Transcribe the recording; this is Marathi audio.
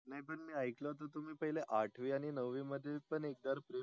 नाही पण मी ऐकले होत तुम्ही पहिले आठवी आणि नव्वी मध्ये पण एका प्रेम